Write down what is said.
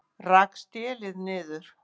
Rak stélið niður